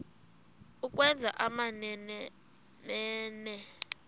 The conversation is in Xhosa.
ukwenza amamene mene